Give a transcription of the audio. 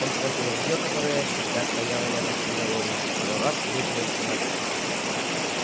он схватил ружье которое всегда стояло рядом с изголовьем и пару раз выпалил в темноту